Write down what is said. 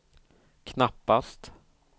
knappast